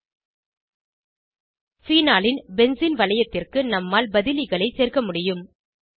ஃபீனாலின் benzene வளையத்திற்கு நம்மால் பதிலிகளை சேர்க்க முடியும்